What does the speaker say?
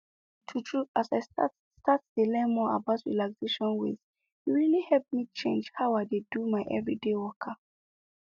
true true as i start start dey learn more about relaxation ways e really help me change how i dey do my everyday waka